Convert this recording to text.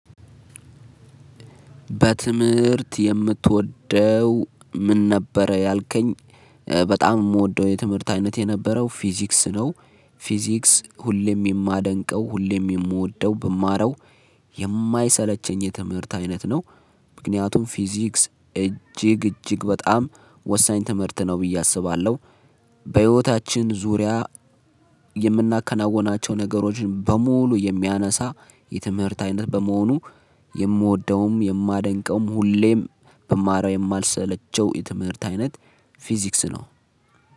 በትምህርት የምትወደው ምን ነበረ ያልከኝ በጣም የምወደው የትምህርት አይነት የነበረው ፊዚክስ ነው። በትምህርት የምትወደው ምን ነበረ ያልከኝ በጣም የምወደው የትምህርት አይነት የነበረው ፊዚክስ ነው። ምክንያቱም ፊዚክስ እጅግ እጅግ በጣም ወሳኝ ትምህርት ነው ብዬ አስባለሁ። በህይወታችን ዙሪያ የምናከናከናውናቸው ነገሮችን በሙሉ የሚያነሳ የትምህርት አይነት በመሆኑ። የምወደውም የማደንቀውም ሁሌም ብማረው የማልሰለቸው የትምህርት አይነት ፊዚክስ ነው።